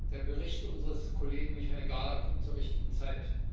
Der Bericht unseres Kollegen Michael Gahler kommt zur richtigen Zeit.